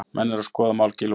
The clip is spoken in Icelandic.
Menn eru að skoða mál Gylfa